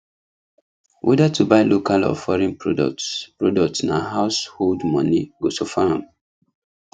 whether to buy local or foreign products products na household money go suffer am